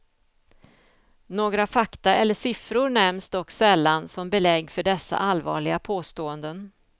Några fakta eller siffror nämns dock sällan som belägg för dessa allvarliga påståenden.